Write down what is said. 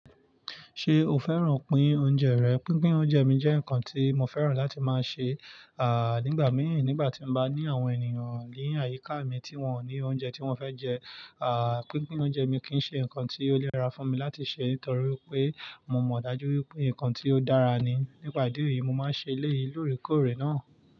Ṣé o fẹ́ràn pín oúnjẹ rẹ̀? Pínpín oúnjẹ mi jẹ́ nkan tí mo fẹ́ràn láti máa ṣe, à nígbà mìíràn nígbà tí mo bá ní àwọn ènìyàn lé àyíká mi tí wọ́n ní oúnjẹ tí wọ́n fẹ́ jẹ, à pínpín oúnjẹ mi kì í ṣe nǹkan tí ó lè ra fún mi láti ṣe nítorí pé mo mọ̀ dájú wípé nǹkan tí ó dára ni. Nípa ìdí èyí, mo máa ń ṣe eleyi lóòrèkóòrè náà.